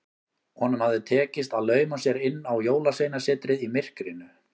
Honum hafði tekist að lauma sér inn á Jólasveinasetrið í myrkrinu.